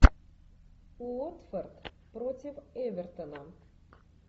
уотфорд против эвертона